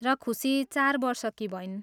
र खुसी चार वर्षकी भइन्।